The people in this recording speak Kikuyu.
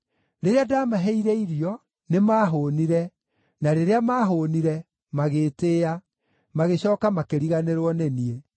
Rĩrĩa ndamaheire irio, nĩmahũũnire; na rĩrĩa maahũũnire, magĩtĩĩa; magĩcooka makĩriganĩrwo nĩ niĩ.